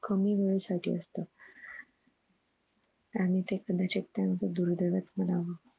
कमी वेळा साठी असत. आणि ते कदाचित त्याचं दुर्दैव च म्हणावं.